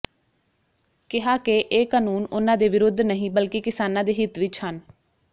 ਕਿਹਾ ਕਿ ਇਹ ਕਾਨੂੰਨ ਉਨ੍ਹਾਂ ਦੇ ਵਿਰੁੱਧ ਨਹੀਂ ਬਲਕਿ ਕਿਸਾਨਾਂ ਦੇ ਹਿੱਤ ਵਿੱਚ ਹਨ